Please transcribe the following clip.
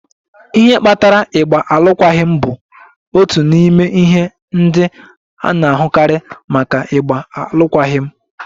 Ihe kpatara ịgba alụkwaghịm bụ otu n'ime ihe ndị a na-ahụkarị maka ịgba alụkwaghịm.